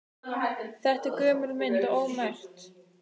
Þetta var gömul mynd og ómerkt.